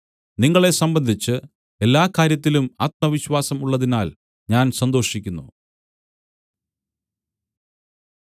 നിങ്ങളെ സംബന്ധിച്ച് എല്ലാകാര്യത്തിലും ആത്മവിശ്വാസം ഉള്ളതിനാൽ ഞാൻ സന്തോഷിക്കുന്നു